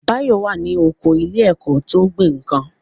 Báyọ̀ wà ní oko ilé ẹ̀kọ́ tó ń gbin nǹkan